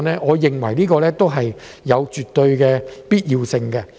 我認為這絕對有必要。